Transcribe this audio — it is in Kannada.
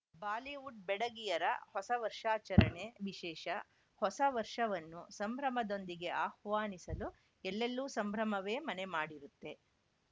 ಬಾಲಿವುಡ್‌ ಬೆಡಗಿಯರ ಹೊಸ ವರ್ಷಾಚರಣೆ ವಿಶೇಷ ಹೊಸ ವರ್ಷವನ್ನು ಸಂಭ್ರಮದೊಂದಿಗೆ ಆಹ್ವಾನಿಸಲು ಎಲ್ಲೆಲ್ಲೂ ಸಂಭ್ರಮವೇ ಮನೆ ಮಾಡಿರುತ್ತೆ